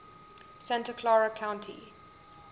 santa clara county